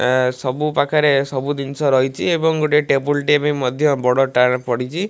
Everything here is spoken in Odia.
ସବୁ ପାଖରେ ସବୁ ଜିନିଷ ରହିଚି ଏବଂ ଗୋଟେ ଟେବୁଲ ଟେ ବି ମଧ୍ୟ ବଡ ଟାରେ ପଡିଚି।